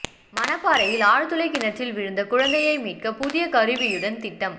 மணப்பாறையில் ஆழ்துளை கிணற்றில் விழுந்த குழந்தையை மீட்க புதிய கருவியுடன் திட்டம்